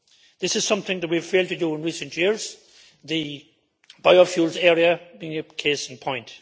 This is something that we have failed to do in recent years, the biofuels area being a case in point.